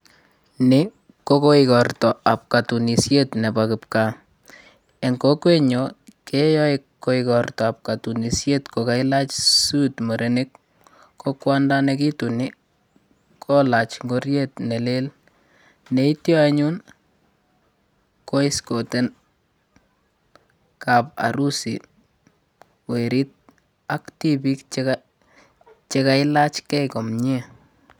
Ni kogoigorta nebo katunishetab kipkaa. Eng' kokwenyo keyae igortaab kotunisiet kokailach suit murenik ko kwondo nekituni kolaji ngoriet nelel. Neityo anyun koescoten kaparusi werit ak tibik che kailachgei komie.